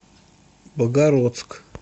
богородск